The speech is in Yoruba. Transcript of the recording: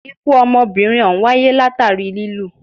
Ikú ọmọbìnrin òhún wáyé látàri lilù.